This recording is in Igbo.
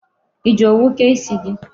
I ji owu kee isi gị?